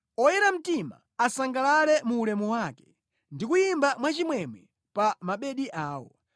Oyera mtima asangalale mu ulemu wake ndi kuyimba mwachimwemwe pa mabedi awo.